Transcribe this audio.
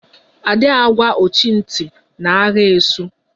A dị agwa ọchị ntị na agha esu